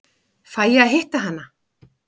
Fæ ég að hitta hana?